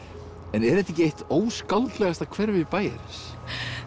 en er þetta ekki eitt hverfi bæjarins